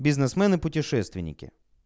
бизнесмены путешественники